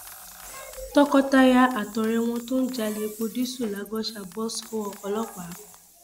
tọkọtaya àtọrẹ wọn tó ń jalè epo dììsù lagọsà bọ sọwọ ọlọpàá